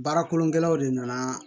Baara kolongɛlaw de nana